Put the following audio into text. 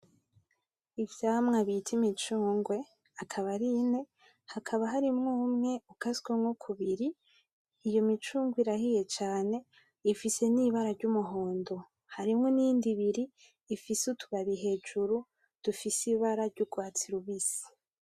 Ivyamwa bita imicungwe , akaba ari ine hakaba harimwo umwe ukasemwo kubiri iyo micungwe irahiye cane ifise n'ibara ry'umuhondo harimwo iyindi ibiri ifise utubabi hejuru dufise ibara ry’urwatsi rubisi .